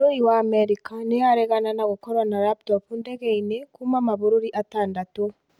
bũrũri wa America nĩaregana na gũkorwo na laptopu ndegeinĩ kuuma mabururi atandata.